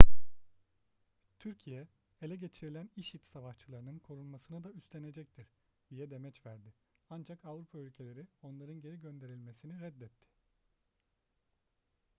türkiye ele geçirilen i̇şi̇d savaşçılarının korunmasını da üstenecektir diye demeç verdi ancak avrupa ülkeleri onların geri gönderilmesini reddetti